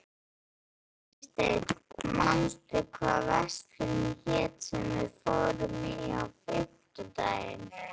Freysteinn, manstu hvað verslunin hét sem við fórum í á fimmtudaginn?